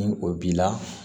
Ni o b'i la